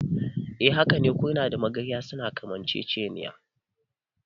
Hakane, kurna da magarya suna kamanceceniya.